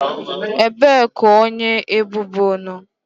Ebee ka onye ebubo nọ?